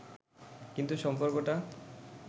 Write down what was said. কিন্তু সম্পর্কটা